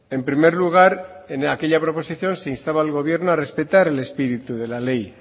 en primer lugar en aquella proposición se instaba al gobierno a respetar el espíritu de la ley